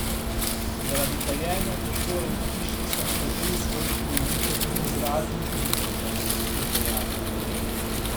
Zaradi kajenja prostorov v hiši so nekateri svojci bolnikov tudi izrazili pomisleke, je dejala.